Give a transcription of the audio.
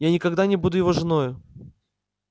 я никогда не буду его женою